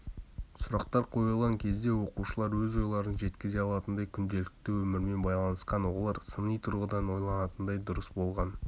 сұрақтар қойылған кезде оқушылар өз ойларын жеткізе алатындай күнделікті өмірмен байланысқан олар сыни тұрғыдан ойланатындай болғаны дұрыс